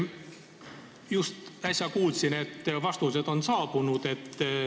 Just äsja kuulsin, et vastused on saabunud.